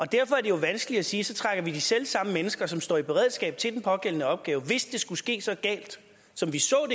derfor er det jo vanskeligt at sige at så trækker vi de selv samme mennesker tilbage som står i beredskab til den pågældende opgave hvis det skulle ske så galt som vi så